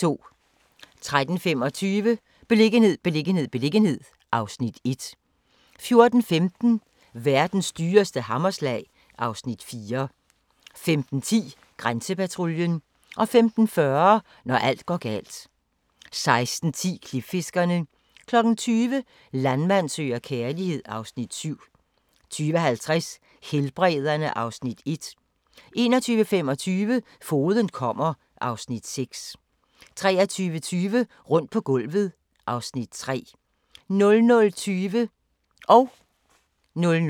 13:25: Beliggenhed, beliggenhed, beliggenhed (Afs. 1) 14:15: Verdens dyreste hammerslag (Afs. 4) 15:10: Grænsepatruljen 15:40: Når alt går galt 16:10: Klipfiskerne 20:00: Landmand søger kærlighed (Afs. 7) 20:50: Helbrederne (Afs. 1) 21:25: Fogeden kommer (Afs. 6) 23:20: Rundt på gulvet (Afs. 3) 00:20: Grænsepatruljen (tir og tor)